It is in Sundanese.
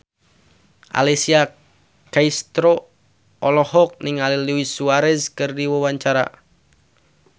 Alessia Cestaro olohok ningali Luis Suarez keur diwawancara